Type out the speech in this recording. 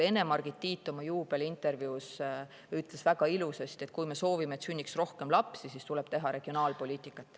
Ene‑Margit Tiit ütles oma juubeliintervjuus väga ilusasti: kui me soovime, et sünniks rohkem lapsi, siis tuleb teha regionaalpoliitikat.